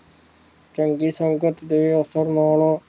ਚੰਗੀ ਸੰਗਤ ਦੇ ਅਸਰ ਨਾਲੋਂ